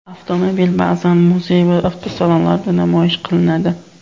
Avtomobil ba’zan muzey va avtosalonlarda namoyish qilinadi.